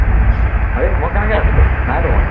হেই মই কেনেকে আছিলো, নাইতো মই